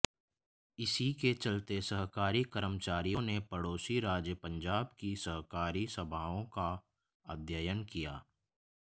इसी के चलते सहकारी कर्मचारियों ने पड़ोसी राज्य पंजाब की सहकारी सभाओं का अध्ययन किया